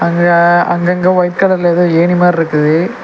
அங்க அங்கங்க ஒயிட் கலர்ல ஏதோ ஏணி மார்ருக்குது.